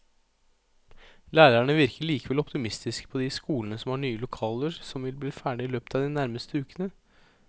Lærerne virker likevel optimistiske på de skolene som har nye lokaler som vil bli ferdige i løpet av de nærmeste ukene.